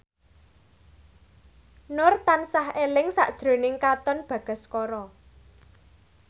Nur tansah eling sakjroning Katon Bagaskara